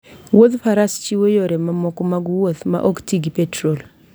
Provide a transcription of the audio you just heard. Wuodh faras chiwo yore mamoko mag wuoth maok ti gi petrol